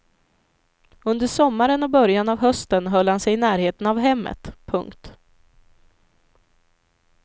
Under sommaren och början av hösten höll han sig i närheten av hemmet. punkt